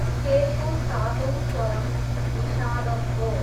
स्केलको सातौँ स्वरम् निषादम् हो।